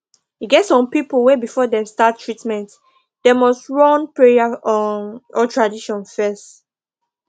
e get some people wey before dem start treatment them nust run prayer um or tradition fes